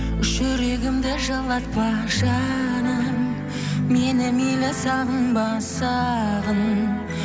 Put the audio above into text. жүрегімді жылатпа жаным мені мейлі сағынба сағын